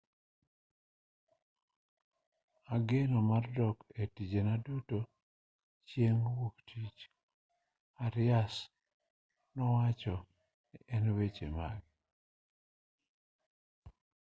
ageno mar dok e tijena duto chieng' wuoktich arias nowacho ei weche mage